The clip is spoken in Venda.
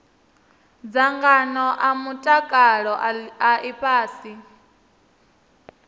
dzangano a mutakalo a ifhasi